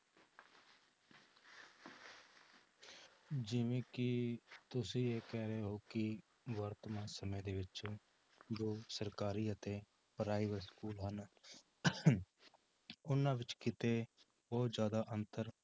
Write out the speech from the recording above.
ਜਿਵੇਂ ਕਿ ਤੁਸੀਂ ਇਹ ਕਹਿ ਰਹੇ ਹੋ ਕਿ ਵਰਤਮਾਨ ਸਮੇਂ ਦੇ ਵਿੱਚ ਜੋ ਸਰਕਾਰੀ ਅਤੇ private school ਹਨ ਉਹਨਾਂ ਵਿੱਚ ਕਿਤੇ ਬਹੁਤ ਜ਼ਿਆਦਾ ਅੰਤਰ